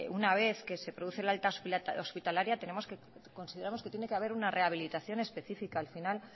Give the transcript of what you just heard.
una vez que se produce el alta hospitalaria consideramos que tiene que haber una rehabilitación específica al final